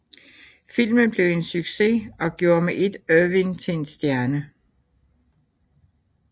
Filmen blev en succes og gjorde med ét Irvine til en stjerne